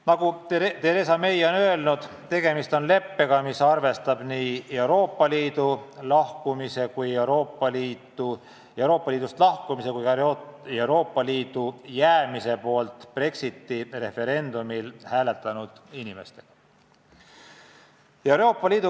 Nagu Theresa May on öelnud, tegemist on leppega, mis arvestab nii Euroopa Liidust lahkumise kui ka Euroopa Liitu jäämise poolt Brexiti referendumil hääletanud inimestega.